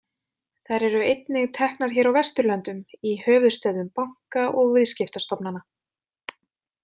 Þær eru einnig teknar hér á Vesturlöndum, í höfuðstöðvum banka og viðskiptastofnanna.